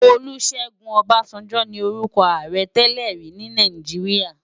Olusegun Obasanjo ni órùkò àárè tèlèri ni Náijiriá